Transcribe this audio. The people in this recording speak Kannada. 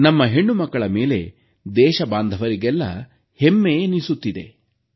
ನಮ್ಮ ಹೆಣ್ಣುಮಕ್ಕಳ ಮೇಲೆ ದೇಶಬಾಂಧವರಿಗೆಲ್ಲ ಹೆಮ್ಮೆ ಎನಿಸುತ್ತಿದೆ